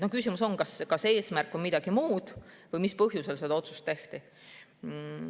Küsimus on, kas eesmärk on midagi muud või mis põhjusel see otsust tehti.